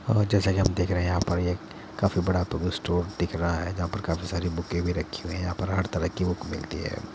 अ जैसा कि हम देख रहे हैं यहाँ पर एक काफ़ी बड़ा बुक स्टोर दिख रहा है जहाँ पर काफ़ी सारे बुके भी रखी हुई हैं। यहाँ पर हर तरह की बुक मिलती हैं।